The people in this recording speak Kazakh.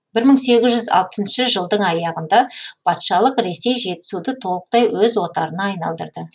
бір мың сегіз жүз алпысыншы жылдың аяғында патшалық ресей жетісуды толықтай өз отарына айналдырды